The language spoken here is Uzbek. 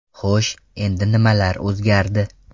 Xo‘sh, endi nimalar o‘zgardi?